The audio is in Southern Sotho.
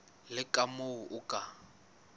le ka moo o ka